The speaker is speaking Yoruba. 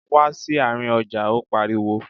Wá sí àárín ọjà! Ó pariwo.